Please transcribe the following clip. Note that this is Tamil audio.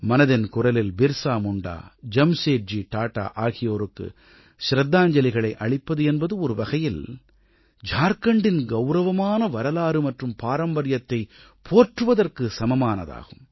மனதின் குரலில் பிர்ஸா முண்டா ஜம்சேட்ஜி டாடா ஆகியோருக்கு ச்ரத்தாஞ்சலிகளை அளிப்பது என்பது ஒருவகையில் ஜார்க்கண்டின் கௌரவமான வரலாறு மற்றும் பாரம்பரியத்தைப் போற்றுவதற்குச் சமமானதாகும்